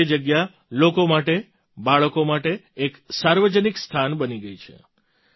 આજે તે જગ્યા લોકો માટે બાળકો માટે એક સાર્વજનિક સ્થાન બની ગઈ છે